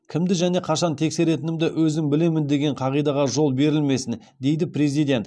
кімді және қашан тексеретінімді өзім білемін деген қағидаға жол берілмесін дейді президент